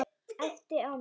Æpti á mig.